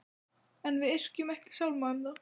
En við yrkjum ekki sálma um þá.